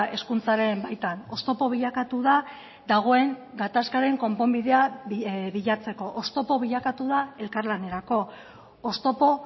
hezkuntzaren baitan oztopo bilakatu da dagoen gatazkaren konponbidea bilatzeko oztopo bilakatu da elkarlanerako oztopo